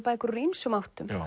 bækur úr ýmsum áttum